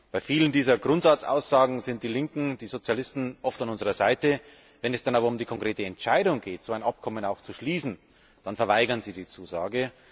Bei vielen dieser Grundsatzaussagen sind die Linken, die Sozialisten oft an unserer Seite, wenn es dann aber um die konkrete Entscheidung geht, so ein Abkommen auch zu schließen, dann verweigern sie die Zusage.